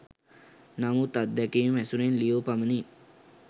නමුත් අත්දැකීම් ඇසුරෙන් ලියූ පමණින්